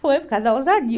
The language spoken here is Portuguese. Foi por causa da ousadia.